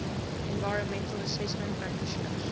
environmental assessment practitioners